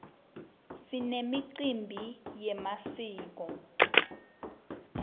sinemicimbi yemasiko